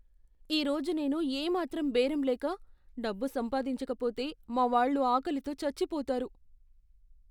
ఈరోజు నేను ఏ మాత్రం బేరం లేక, డబ్బు సంపాదించకపోతే, మా వాళ్ళు ఆకలితో చచ్చిపోతారు.